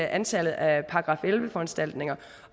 antallet af § elleve foranstaltninger